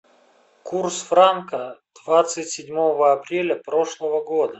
курс франка двадцать седьмого апреля прошлого года